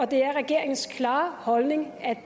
det er regeringens klare holdning at